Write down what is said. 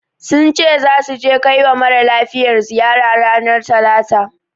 Sun ce zasu je kawai mara lafiyar ziyara. ranar talata.